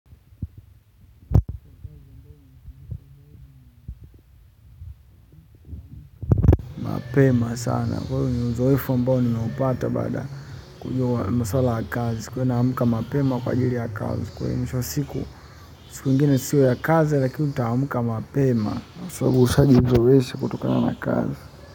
Mapema sana. Kwa hivyo ni uzoefu ambao nimeupata baada kujua maswala ya kazi nisikuwe naamka mapema kwa ajili ya kazi. Kwa hivyo nisho siku siku ingine sio ya kazi lakini utaamka mapema. Kwa hivyo ushajizoeesha kutokana na kazi.